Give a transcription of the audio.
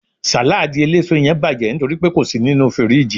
saladi eleso yen baje nitoripe ko si ninu firiji